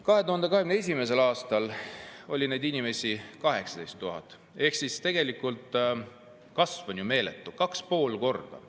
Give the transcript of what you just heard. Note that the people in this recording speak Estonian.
2021. aastal oli neid inimesi 18 000 ehk siis tegelikult on kasv meeletu: 2,5 korda.